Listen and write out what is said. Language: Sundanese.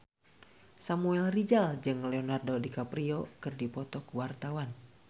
Samuel Rizal jeung Leonardo DiCaprio keur dipoto ku wartawan